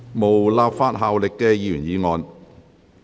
無立法效力的議員議案。